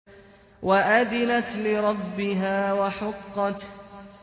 وَأَذِنَتْ لِرَبِّهَا وَحُقَّتْ